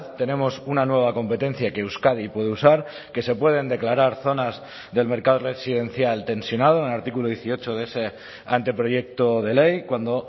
tenemos una nueva competencia que euskadi puede usar que se pueden declarar zonas del mercado residencial tensionado en el artículo dieciocho de ese anteproyecto de ley cuando